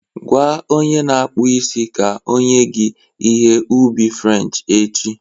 Gwa onye na-akpụ isi ka o nye gị ihe ubi French echi